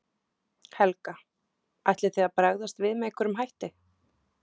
Helga: Ætlið þið að bregðast við með einhverjum hætti?